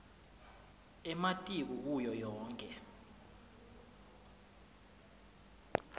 ematiko kuyo yonkhe